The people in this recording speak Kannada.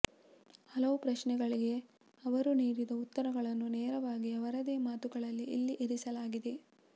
ಹಲವು ಪ್ರಶ್ನೆಗಳಿಗೆ ಅವರು ನೀಡಿದ ಉತ್ತರಗಳನ್ನು ನೇರವಾಗಿ ಅವರದೇ ಮಾತುಗಳಲ್ಲಿ ಇಲ್ಲಿ ಇರಿಸಲಾಗಿದೆ